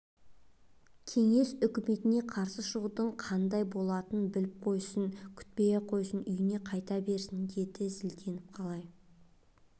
кеңес үкіметіне қарсы шығудың қандай болатынын біліп қойсын күтпей-ақ қойсын үйіне қайта берсін деді зілденіп қалай